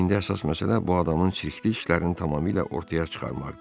İndi əsas məsələ bu adamın çirkli işlərini tamamilə ortaya çıxarmaqdır.